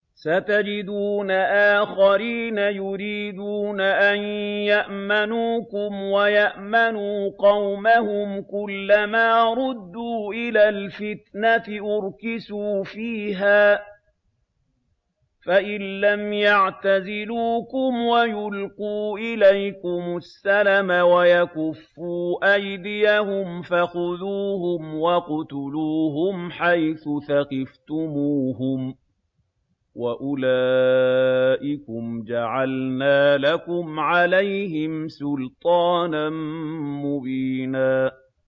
سَتَجِدُونَ آخَرِينَ يُرِيدُونَ أَن يَأْمَنُوكُمْ وَيَأْمَنُوا قَوْمَهُمْ كُلَّ مَا رُدُّوا إِلَى الْفِتْنَةِ أُرْكِسُوا فِيهَا ۚ فَإِن لَّمْ يَعْتَزِلُوكُمْ وَيُلْقُوا إِلَيْكُمُ السَّلَمَ وَيَكُفُّوا أَيْدِيَهُمْ فَخُذُوهُمْ وَاقْتُلُوهُمْ حَيْثُ ثَقِفْتُمُوهُمْ ۚ وَأُولَٰئِكُمْ جَعَلْنَا لَكُمْ عَلَيْهِمْ سُلْطَانًا مُّبِينًا